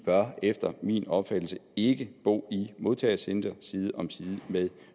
bør efter min opfattelse ikke bo i modtagecentre side om side med